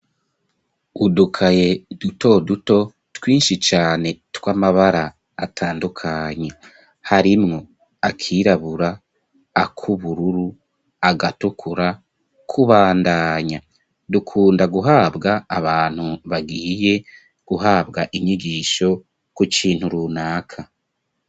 Udukaye, duto duto, twinshi cane, tw'amabara, atandukanye; harimwo akirabura, ak'ubururu, agatukura, kubandanya; dukunda guhabwa, abantu bagiye guhabwa, inyigisho kukintu, runaka.